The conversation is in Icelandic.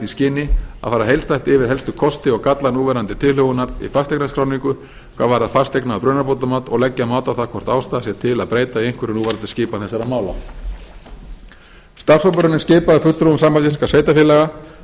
skyni að fara heildstætt yfir helstu kosti og galla núverandi tilhögunar í fasteignaskráningu hvað varðar fasteigna og brunabótamat og leggja mat á hvort ástæða sé til að breyta í einhverju núverandi skipan þessara mála starfshópurinn er skipaður fulltrúum sambands íslenskra sveitarfélaga